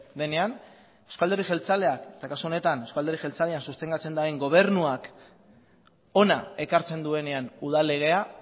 denean eusko alderdi jeltzaleak eta kasu honetan eusko alderdi jeltzalean sostengatzen duen gobernuak hona ekartzen duenean udal legea